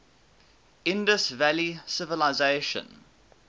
indus valley civilization